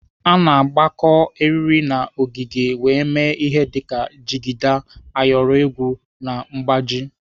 A na-agakọ eriri na ọgịga wee mee ihe dịka jigida, ayọrọ egwu na mgbaji.